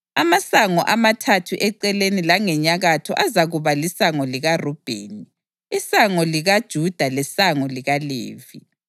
amasango amathathu eceleni langenyakatho azakuba lisango likaRubheni, isango likaJuda lesango likaLevi.